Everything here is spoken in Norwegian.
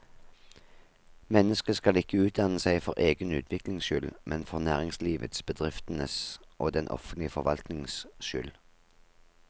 Mennesket skal ikke utdanne seg for egen utviklings skyld, men for næringslivets, bedriftenes og den offentlige forvaltningens skyld.